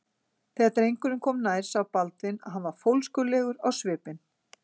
Þegar drengurinn kom nær sá Baldvin að hann var fólskulegur á svipinn.